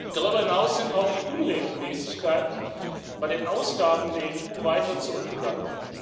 Darüber hinaus sind auch die Unregelmäßigkeiten bei den Ausgaben der EU weiter zurückgegangen.